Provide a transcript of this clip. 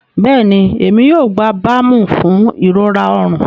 Bẹẹni, Emi yoo gba baamu fun irora ọrun.